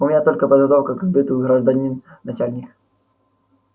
у меня только подготовка к сбыту гражданин начальник